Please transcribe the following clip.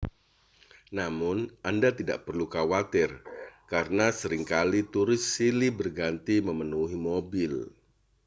namun anda tidak perlu khawatir karena sering kali turis silih berganti memenuhi mobil